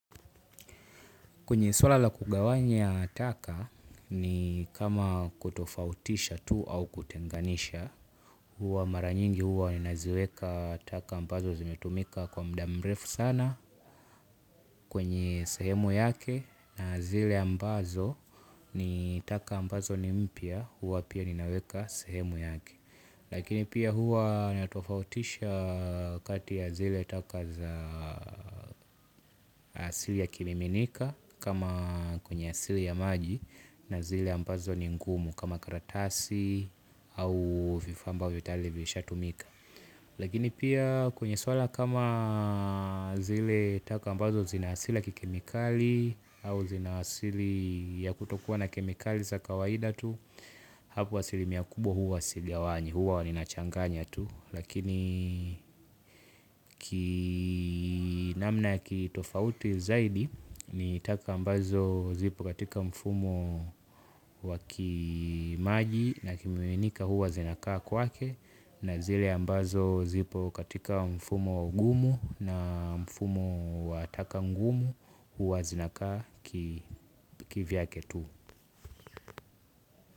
Kwenye suala la kugawanya taka ni kama kutofautisha tu au kutenganisha, mara nyingi huwa ninaziweka taka ambazo zimetumika kwa mda mrefu sana kwenye sehemu yake na zile ambazo ni taka ambazo ni mpya huwa pia ninaweka sehemu yake. Lakini pia huwa natofautisha kati ya zile taka za asili ya kimiminika kama kwenye asili ya maji na zile ambazo ni ngumu kama karatasi au vifaa ambavyo tayali vishatumika. Lakini pia kwenye swala kama zile taka ambazo zina asila kikemikali au zina asili ya kutokuwa na kemikali za kawaida tu. Hapo asilimia kubwa huwa sigawanyi huwa ninachanganya tu. Lakini kinamna kitofauti zaidi ni taka ambazo zipo katika mfumo wa kimaji na kimiminika huwa zinakaa kwake na zile ambazo zipo katika mfumo gumu na mfumo wa taka ngumu hua zinakaa kivyake tu.